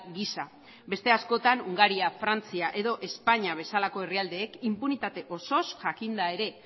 gisa beste askotan hungaria frantzia edo espainia bezalako herrialdeek inpunitate osoz jakinda ere